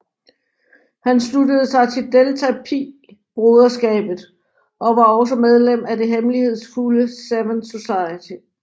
Han sluttede sig til Delta Psi broderskabet og var også medlem af det hemmelighedsfulde Seven Society